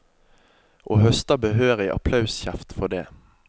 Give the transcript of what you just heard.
Og høster behørig applauskjeft for det.